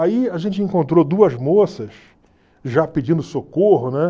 Aí a gente encontrou duas moças já pedindo socorro, né?